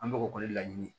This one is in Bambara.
An bɛ o ko ni laɲini